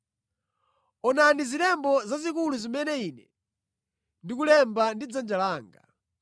Onani zilembo zazikulu zimene ine ndikulemba ndi dzanja langa.